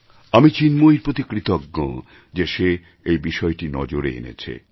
আমি চিন্ময়ীর প্রতি কৃতজ্ঞ যে সে এই বিষয়টি নজরে এনেছে